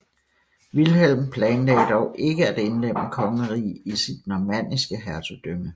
Vilhelm planlagde dog ikke at indlemme kongeriget i sit normanniske hertugdømme